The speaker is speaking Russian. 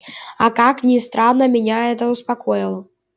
и как ни странно меня это успокоило